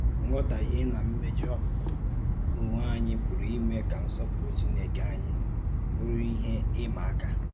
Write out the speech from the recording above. Nghọtáhìe na mméjọ̀ ònwé ònye pùrù ímè kà nsọ́pùrụ̀ Chínèkè ànyí bùrù íhè ìmà-àká